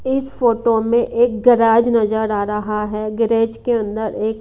इस फोटो में एक गराज नजर आ रहा है गैरेज के अंदर एक--